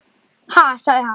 Ha? segir hann.